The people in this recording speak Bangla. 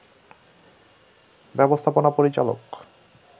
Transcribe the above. ব্যবস্থাপনা পরিচালক